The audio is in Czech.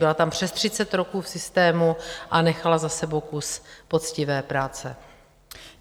Byla tam přes 30 roků v systému a nechala za sebou kus poctivé práce.